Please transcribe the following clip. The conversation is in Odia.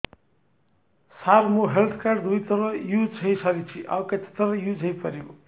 ସାର ମୋ ହେଲ୍ଥ କାର୍ଡ ଦୁଇ ଥର ୟୁଜ଼ ହୈ ସାରିଛି ଆଉ କେତେ ଥର ୟୁଜ଼ ହୈ ପାରିବ